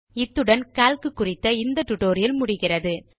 இத்துடன் கால்க் குறித்த spoken tutorial முடிவுக்கு வருகிறது